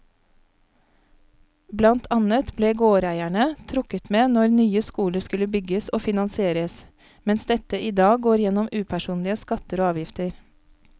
Blant annet ble gårdeierne trukket med når nye skoler skulle bygges og finansieres, mens dette i dag går gjennom upersonlige skatter og avgifter.